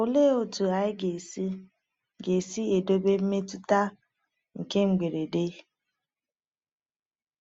Olee otu anyị ga-esi ga-esi edobe mmetụta nke mberede?